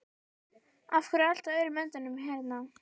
Af hverju er allt á öðrum endanum hérna?